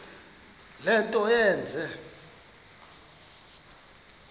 le nto yenze